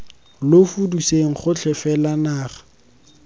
lo fudiseng gotlhe fela naga